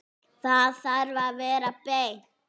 Það þarf að vera beint.